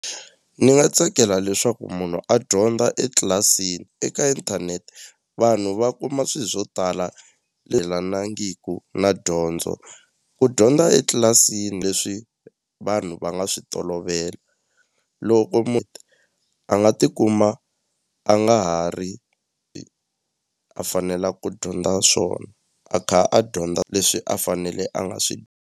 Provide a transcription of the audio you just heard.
Ni nga tsakela leswaku munhu a dyondza etlilasini eka inthanete vanhu va kuma swi swo tala lelanangiku na dyondzo ku dyondza etlilasini leswi vanhu va nga swi tolovela loko a nga tikuma a nga ha ri a fanela ku dyondza swona a kha a dyondza leswi a fanele a nga swi.